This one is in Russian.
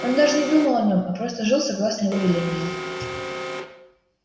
он даже не думал о нём а просто жил согласно его велениям